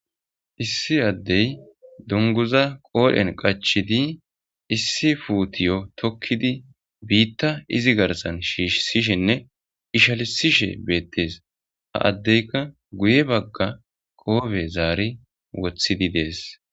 issi addey dunguza qoodhen qachidi issi fuutiyo tokkidi biitta izi garsan shiishsishinne ishalisishe beettees ha addeyka guye bagga qoobe zaari wothidi dees